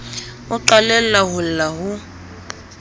o qalella ho lla ho